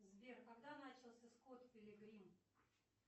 сбер когда начался скот пилигрим